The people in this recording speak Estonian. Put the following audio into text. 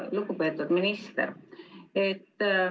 Lugupeetud minister!